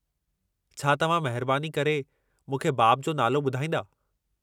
छा तव्हां महिरबानी करे मूंखे बाब जो नालो ॿुधाईंदा?